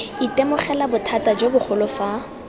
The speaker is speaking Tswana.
itemogela bothata jo bogolo fa